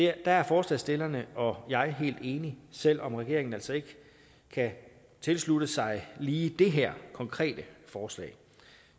er forslagsstillerne og jeg helt enige selv om regeringen altså ikke kan tilslutte sig lige det her konkrete forslag